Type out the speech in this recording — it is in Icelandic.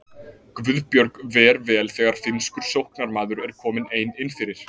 Guðbjörg ver vel þegar finnskur sóknarmaður er komin ein innfyrir.